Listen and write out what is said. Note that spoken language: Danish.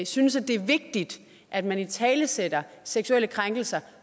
synes det er vigtigt at man italesætter seksuelle krænkelser